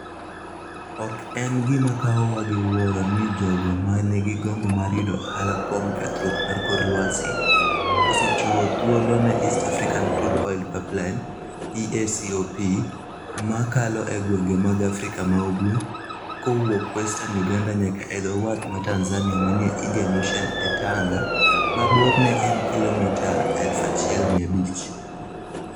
Ok en gima kawowa gi wuoro ni jogo ma nigi gombo mar yudo ohala kuom kethruok mar kor lwasi, osechiwo thuolo ne East African Crude Oil Pipeline (EACOP), ma kalo e gwenge mag Afrika ma ugwe, kowuok Western Uganda nyaka e dho wath ma Tanzania manie Indian Ocean e Tanga, ma borne en kilomita 1,500.